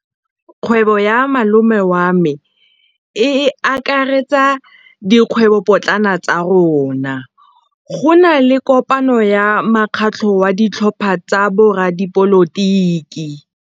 Kgwêbô ya malome wa me e akaretsa dikgwêbôpotlana tsa rona. Go na le kopanô ya mokgatlhô wa ditlhopha tsa boradipolotiki.